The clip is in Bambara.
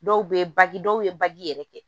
Dɔw bɛ baki dɔw ye bagi yɛrɛ kɛ